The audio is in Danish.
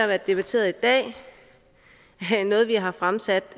været debatteret i dag noget vi har fremsat